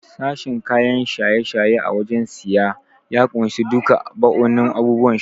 Sashen kayan shaye-shaye a wajen siyayya ya kunshi duka bau'in abubuwan sha.